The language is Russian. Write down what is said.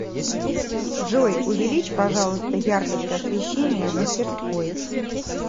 джой увеличь пожалуйста яркость освещения в мастерской